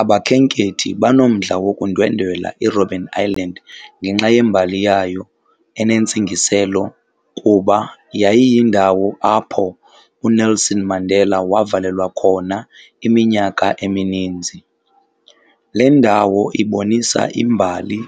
Abakhenkethi banomdla wokundwendwela iRobben Island ngenxa yembali yayo enentsingiselo kuba yayiyindawo apho uNelson Mandela wavalelwa khona iminyaka emininzi. Le ndawo ibonisa imbali